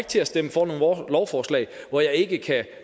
til at stemme for noget lovforslag hvor jeg ikke kan